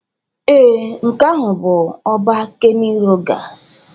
Ee, nke ahụ bụ ọba Kenny Rogers